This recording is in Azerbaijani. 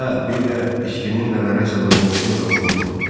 "Hə, bir də içkinin nələrə səbəb olduğunu da unutma."